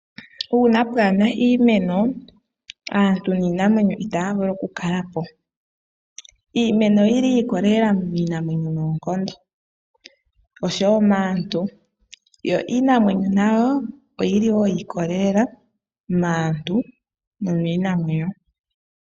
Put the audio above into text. Uuna pwaana iimeno, aantu niinamwenyo itaya vulu oku kala po. Iimeno oyili yiikolelela niinamwenyo noonkondo osho woo maantu, yo iinamwenyo nayo oyili yiikolelela maantu nomiinamwenyo.